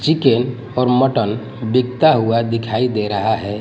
Chicken और mutton बिकता हुआ दिखाई दे रहा है।